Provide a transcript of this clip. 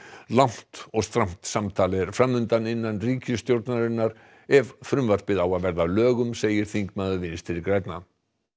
langt og strangt samtal er fram undan innan ríkisstjórnarinnar ef frumvarpið á að verða að lögum segir þingmaður Vinstri grænna